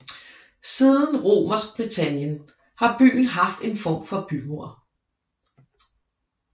Siden Romersk Britannien har byen haft en form for bymur